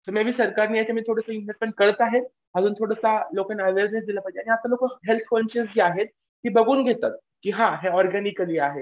तर मी बी सरकार करत आहेत. अजून थोडासा लोकांना अवेअरनेस दिलं पाहिजे आणि लोकांना हेल्थ कॉन्शिअस जी आहेत ती बघून घेतात. की हां ऑर्गॅनिकली आहे.